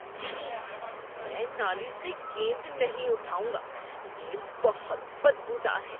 چھی، میں نالی سے گیند نہیں اٹھاؤں گا۔ یہ بہت بدبودار ہے۔